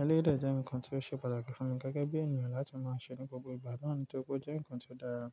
Éléyì dè jẹ́ nǹkan tó ṣe pàtàkì fún mi gẹ́gẹ́ bí ènìyàn láti máa ṣe ní gbogbo ìgbà náà nítorí pé ó jẹ́ nǹkan ti dára,